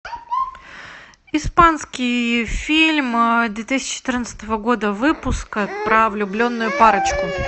испанский фильм две тысячи четырнадцатого года выпуска про влюбленную парочку